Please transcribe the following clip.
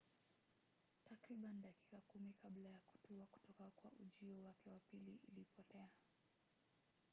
takribani dakika kumi kabla ya kutua kutoka kwa ujio wake wa pili ilipotea